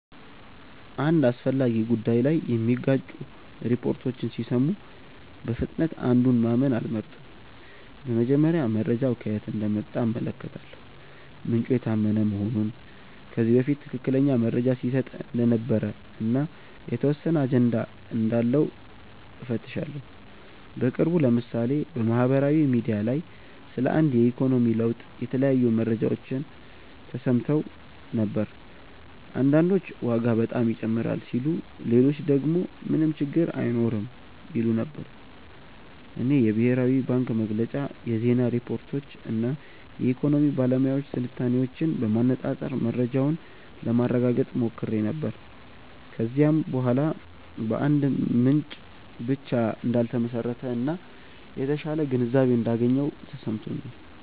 አንድ አስፈላጊ ጉዳይ ላይ የሚጋጩ ሪፖርቶችን ሲሰሙ በፍጥነት አንዱን ማመን አልመርጥም። በመጀመሪያ መረጃው ከየት እንደመጣ እመለከታለሁ፤ ምንጩ የታመነ መሆኑን፣ ከዚህ በፊት ትክክለኛ መረጃ ሲሰጥ እንደነበር እና የተወሰነ አጀንዳ እንዳለው እፈትሻለሁ። በቅርቡ ለምሳሌ በማህበራዊ ሚዲያ ላይ ስለ አንድ የኢኮኖሚ ለውጥ የተለያዩ መረጃዎች ተሰምተው ነበር። አንዳንዶች ዋጋ በጣም ይጨምራል ሲሉ ሌሎች ደግሞ ምንም ችግር አይኖርም ይሉ ነበር። እኔ የብሔራዊ ባንክ መግለጫ፣ የዜና ሪፖርቶች እና የኢኮኖሚ ባለሙያዎች ትንታኔዎችን በማነፃፀር መረጃውን ለማረጋገጥ ሞክሬ ነበር። ከዚያ በኋላ በአንድ ምንጭ ብቻ እንዳልተመሰረተ እና የተሻለ ግንዛቤ እንዳገኘሁ ተሰምቶኛል።